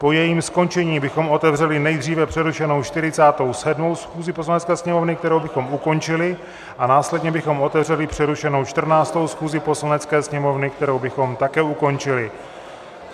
Po jejím skončení bychom otevřeli nejdříve přerušenou 47. schůzi Poslanecké sněmovny, kterou bychom ukončili, a následně bychom otevřeli přerušenou 14. schůzi Poslanecké sněmovny, kterou bychom také ukončili.